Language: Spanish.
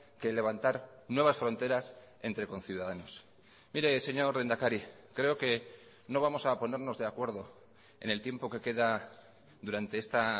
que levantar nuevas fronteras entre conciudadanos mire señor lehendakari creo que no vamos a ponernos de acuerdo en el tiempo que queda durante esta